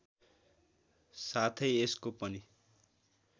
साथै यसको पनि